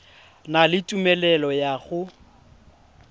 na le tumelelo ya go